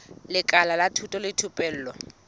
lekala la thuto le thupelo